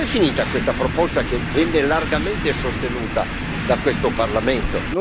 Dov'è finita questa proposta che venne largamente sostenuta da questo Parlamento?